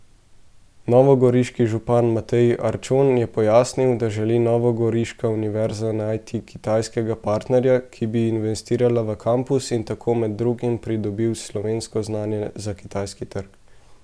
Novogoriški župan Matej Arčon je pojasnil, da želi novogoriška univerza najti kitajskega partnerja, ki bi investiral v kampus in tako med drugim pridobil slovensko znanje za kitajski trg.